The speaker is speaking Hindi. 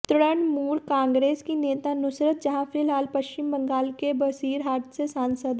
तृणमूल कॉन्ग्रेस की नेता नुसरत जहां फ़िलहाल पश्चिम बंगाल के बसीरहाट से सांसद हैं